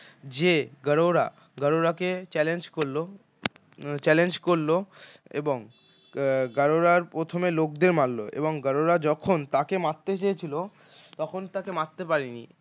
যে গাড়ুরা গাড়ুরাকে challenge করল challenge করল এবং গাড়ুরার প্রথমে লোকদের মারল এবং গাড়ুরা যখন তাঁকে মারতে চেয়েছিল তখন তাকে মারতে পারেনি